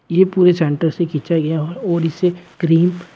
ये पूरी सेंटर से खींचा गया और इसे क्रीम --